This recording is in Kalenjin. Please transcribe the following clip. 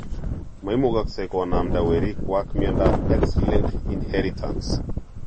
Moimugoksei konamde werikuak miondap x linked inheritance.